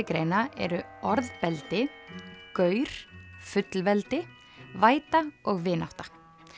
greina eru orðbeldi gaur fullveldi væta vinátta